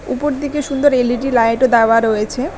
উপর দিকে সুন্দর এল_ই_ডি লাইটও দেওয়া রয়েছে।